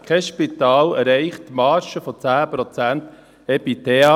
Kein Spital erreicht die Marge von 10 Prozent EBITDA